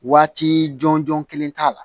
Waati jɔn jɔn kelen t'a la